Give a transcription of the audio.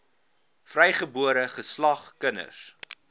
vrygebore geslag kinders